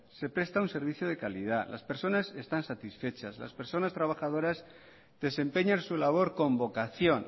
se presta un servicio de calidad las personas están satisfechas las personas trabajadoras desempeñan su labor con vocación